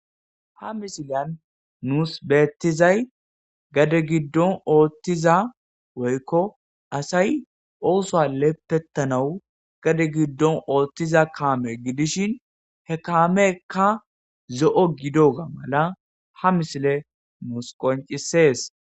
Ha misilen nusi betizay gade gidon otiza woyiko asayi osuwa lepetanawu gade gidon otiza kame gidishin he kamezika zo,o gidoga mala ha misile nusi qonccises